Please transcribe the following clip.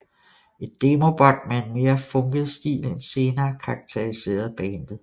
Et demobånd med en mere funket stil end senere karakteriserede bandet